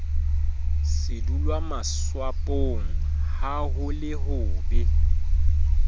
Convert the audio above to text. sedulwamatswapong ha ho le hobe